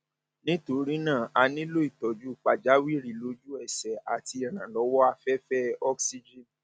nítorí náà a nílò ìtọjú pàjáwìrì lójú ẹsẹ àti ìrànlọwọ afẹfẹ oxygen